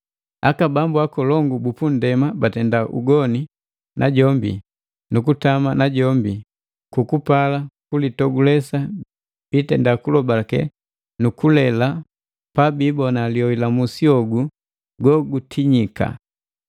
Aka bambu akolongu bu punndema batenda ugoni najombi nukutama najombi kwa kukupala kulitogulesi biitenda kulobalake nu kulela pabiibona lioi la musi hogu gogu tinyika.